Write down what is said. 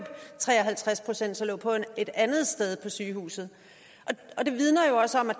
tre og halvtreds procent så lå et andet sted på sygehuset og det vidner jo også om at